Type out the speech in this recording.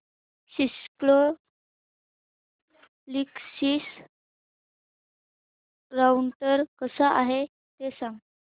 Cisco Linksys router कसा आहे ते सांग